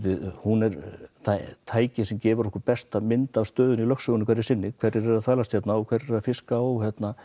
hún er tækið sem gefur okkur besta mynd af lögsögunni hverju sinni hverjir eru að þvælast hérna og hverjir eru að fiska og